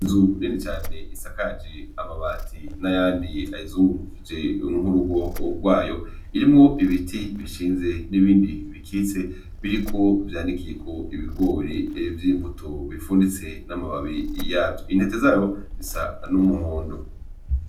Inzu nini cane isakaje amabati n'ayandi ayizungurukije urugo rwayo, irimwo ibiti bishinze n'ibindi bikitse vyanikiyeko ibigori vy'imbuto bifunitse n'amababi yavyo, intete zayo zisa n'umuhondo.